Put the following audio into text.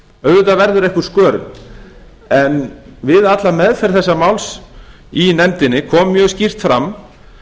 auðvitað verður einhver skörun en við alla meðferð þessa máls í nefndinni kom mjög skýrt fram